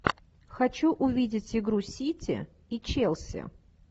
хочу увидеть игру сити и челси